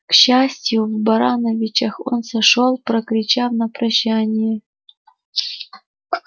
к счастью в барановичах он сошёл прокричав на прощание